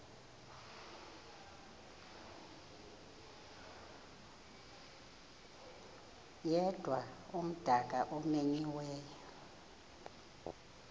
yedwa umdaka omenyiweyo